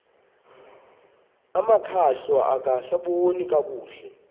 amakhwahla angasaboni nakakuhle